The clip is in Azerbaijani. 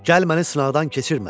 Gəl məni sınaqdan keçirmə.